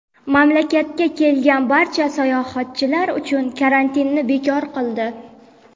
mamlakatga kelgan barcha sayohatchilar uchun karantinni bekor qildi.